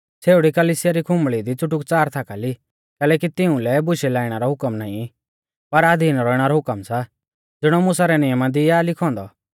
छ़ेउड़ी कलिसिया री खुम्बल़ी दी च़ुटुकच़ार थाकाली कैलैकि तिउंलै बुशै लाइणा रौ हुकम नाईं पर अधीन रौइणा रौ हुकम सा ज़िणौ मुसा रै नियमा दी आ लिखौ औन्दौ